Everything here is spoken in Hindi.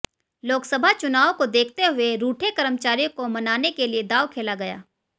लोकसभा चुनावों को देखते हुए रूठे कर्मचारियों को मनाने के लिए दांव खेला गया